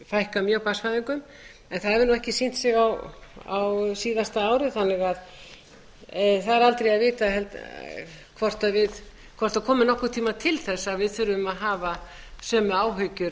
fækka mjög barnsfæðingum en það hefur nú ekki sýnt á síðasta ári þannig að það er aldrei að vita hvort það komi nokkurn tíma til þess að við þurfum að hafa sömu áhyggjur